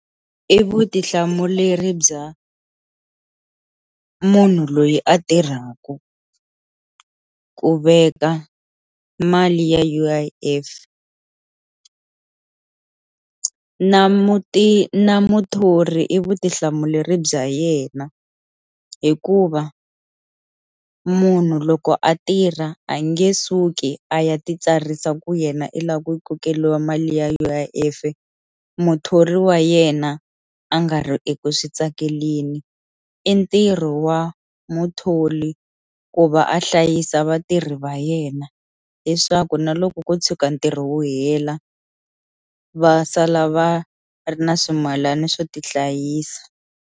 I vutihlamuleri bya munhu loyi a tirhaku ku veka mali ya U_I_F, na muti na muthori i vutihlamuleri bya yena hikuva munhu loko a tirha a nge suki a ya titsarisa ku yena i lava ku kokeriwa mali ya U_I_F muthori wa yena a nga ri eku switsakeleni, i ntirho wa muthori ku va a hlayisa vatirhi va yena leswaku na loko ko tshuka ntirho wu hela va sala va ri na swimalana swo tihlayisa.